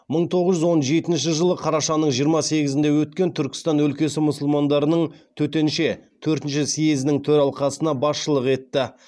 мың тоғыз жүз он жетінші жылы қарашаның жиырма сегізінде өткен түркістан өлкесі мұсылмандарының төтенше төртінші съезінің төралқасына басшылық етті